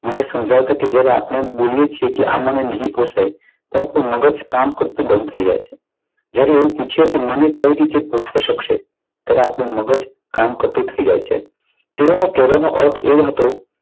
મને સમજાવતા કે જ્યારે આપણે બોલીએ છીએ આપણે નહીં પોસાય તો આપણું મગજ કામ કરતું બંધ થઈ જાય છે. જ્યારે એવી રીતે પૂછે કે મને કઈ રીતે પોષાઈ શકશે? ત્યારે આપણું મગજ કામ કરતું થઈ જાય છે. તેઓનો કહેવાનો અર્થ એ હતો.